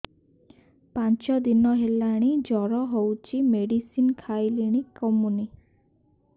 ପାଞ୍ଚ ଦିନ ହେଲାଣି ଜର ହଉଚି ମେଡିସିନ ଖାଇଲିଣି କମୁନି